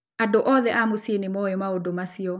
Andũ othe a mũciĩ nĩ moĩ maũndũ macio